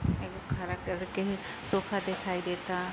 एगो हरा कलर के सोफा देखाई दे ता।